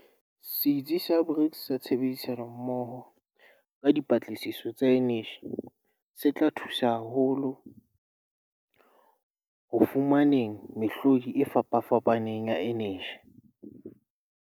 Setsi sa BRICS sa Tshebedisano-mmoho ka Dipatlisiso tsa Eneji, se tla thusa haholo ho fumaneng mehlodi e fapafapaneng ya eneji.